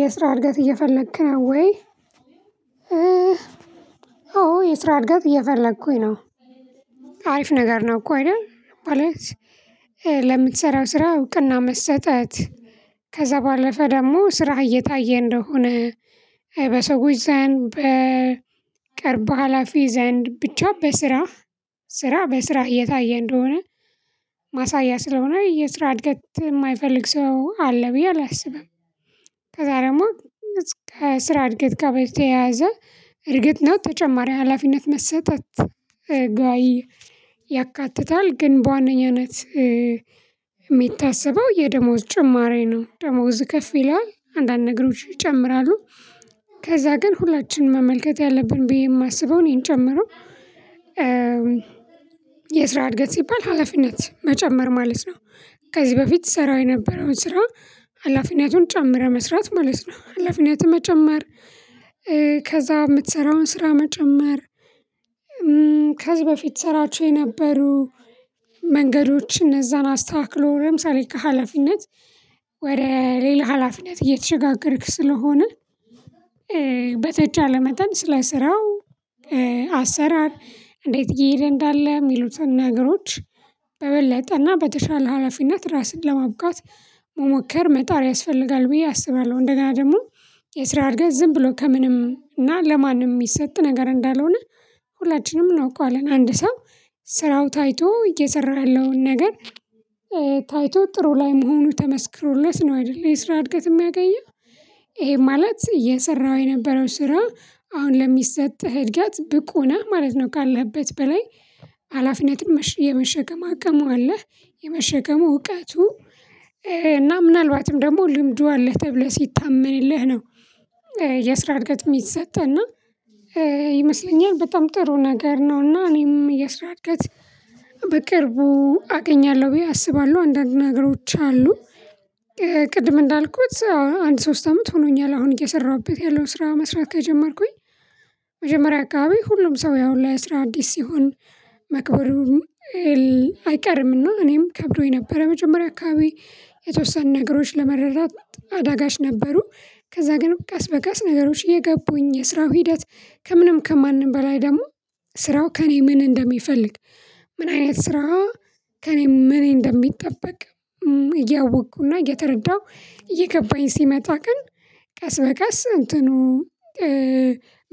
የስራ እድገት እየፈለክ ነው ወይ? አዎ የስራ እድገት እየፈለኩኝ ነው። አሪፍ ነገር ነው እኮ አይደል። ማለት ለምትሰራው ስራ እውቅና መሰጠት። ከዛ ባለፈ ደግሞ ስራህ እየታየ እንደሆነ በሰዎች ዘንድ በቅርብ ሀላፊ ዘንድ ብቻ በስራ ስራ በስራ እየታየ እንደሆነ- ማሳያ ስለሆነ የስራ እድገት የማይፈልግ ሰው አለ ብዬ አላስብም። ከዛ ደግሞ እስከ ስራ እድገት ጋ በተያያዘ እርግጥ ነው ተጨማሪ ሀላፊነት መሰጠት ጋይ ያካትታል። ግን በዋነኛነት- የሚታሰበው የደሞዝ ጭማሪ ነው። ደሞዝ ከፍ ይለዋል። አንዳንድ ነገሮች ይጨምራሉ። ከዛ ግን ሁላችንም መመልከት ያለብን ብዬ የማስበው እኔን ጨምሮ- የስራ እድገት ሲባል ሀላፊነት መጨመር ማለት ነው። ከዚህ በፊት ስራ የነበረው ስራ ሀላፊነቱን ጨምረህ መስራት ማለት ነው። ሀላፊነትን መጨመር- ከዛ የምትሰራውን ስራ መጨመር ከዚህ በፊት ትሰራቸው የነበሩ መንገዶች እነዛን አስተካክሎ ለምሳሌ ከሀላፊነት ወደ ሌላ ሀላፊነት እየተሸጋገርክ ስለሆነ- በተቻለ ስለ ስራው አሰራር እንዴት እየሄደ እንዳለ የሚሉትን ነገሮች በበለጠ እና በተሻለ ሀላፊነት ራስን ለማብቃት መሞከር መጣር ያስፈልጋል ብዬ አስባለሁ። እንደገና ደግሞ የስራ እድገት ዝም ብሎ ከምንም እና ለማንም የሚሰጥ ነገር እንዳልሆነ- ሁላችንም እናውቀዋለን። አንድ ሰው ስራው ታይቶ እየሰራው ያለውን ነገር- ታይቶ ጥሩ ላይ መሆኑ ተመስክሮለት ነው አይደል የስራ እድገት የሚያገኘው። ይሄ ማለት እየሰራው የነበረው ስራ አሁን ለሚሰጥህ እድገት ብቁ ነህ ማለት ነው። ካለህበት በላይ ሀላፊነትን የመሸከም አቅሙ አለህ። የመሸከሙ እውቀቱ- እና ምናልባትም ደግሞ ልምዱ አለህ ተብለህ ሲታመንልህ ነው። የስራ እርገት የሚሰጥ። እና ይመስለኛል በጣም ጥሩ ነገር ነው እና እኔም የስራ እድገት በቅርቡ አገኛለሁ ብዬ አስባለሁ። አንዳንድ ነገሮች አሉ። ቅድም እንዳልኩት አንድ ሶስት አመት ሆኖኛል አሁን እየሰራሁበት ያለው ስራ መስራት ከጀመርኩኝ። መጀመሪያ አካባቢ ሁሉም ሰው ያው ለስራ አዲስ ሲሆን መክበዱ- አይቀርምና እኔም ከብዶኝ ነበረ። መጀመሪያ አካባቢ የተወሰኑ ነገሮች ለመረዳት አዳጋች ነበሩ። ከዛ ግን ቀስ በቀስ ነገሮች እየገቡኝ የስራው ሂደት ከምንም ከማንም በላይ ደግሞ ስራው ከእኔ ምን እንደሚፈልግ :ምን አይነት ስራ ከእኔ ምን እንደሚጠበቅ እያወቅኩና እየተረዳሁ እየገባኝ ሲመጣ ግን ቀስ በቀስ እንትኑ-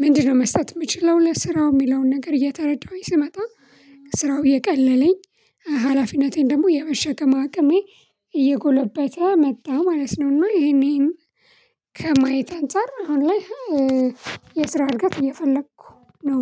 ምንድነው መስጠት የምችለው ለስራው የሚለውን ነገር እየተረዳሁኝ ስመጣ- ስራው እየቀለለኝ ሀላፊነቴን ደግሞ የመሸከም አቅሜ እየጎለበተ መጣ ማለት ነው። እና ይህን ይህን- ከማየት አንፃር አሁን ላይ- የስራ እድገት እየፈለኩ ነው።